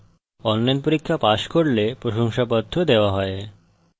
online পরীক্ষা pass করলে প্রশংসাপত্র দেওয়া হয়